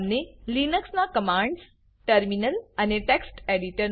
તમને લિનક્સ ના commands terminal અને text એડિટર